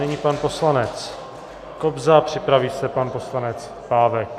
Nyní pan poslanec Kobza, připraví se pan poslanec Pávek.